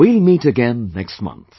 We will meet again next month